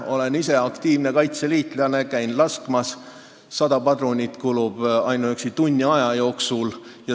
Olen ise aktiivne kaitseliitlane ja käin laskmas, ma tean, et 100 padrunit kulub ainuüksi tunni aja jooksul.